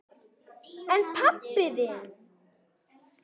Barn: En pabbi þinn?